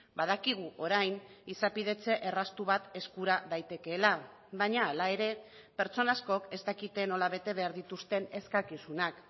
badakigu orain izapidetze erraztu bat eskura daitekeela baina hala ere pertsona askok ez dakite nola bete behar dituzten eskakizunak